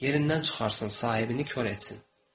Yerindən çıxarsın, sahibini kor etsin.